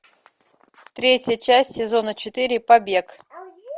третья часть сезона четыре побег